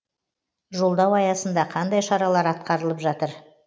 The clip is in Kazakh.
жолдау аясында қандай шаралар атқарылып жатыр